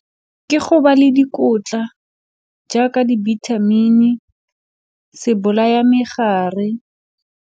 Ke go ba le dikotla jaaka dibithamini se bolaya megare.